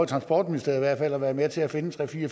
transportministeriet at være med til at finde tre fire